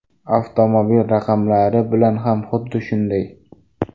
Avtomobil raqamlari bilan ham xuddi shunday.